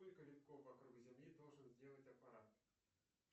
сколько витков вокруг земли должен сделать аппарат